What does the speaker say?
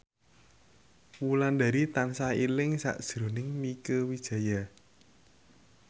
Wulandari tansah eling sakjroning Mieke Wijaya